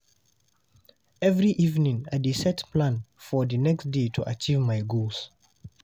Every evening, I dey set plan for the next day to achieve my goals.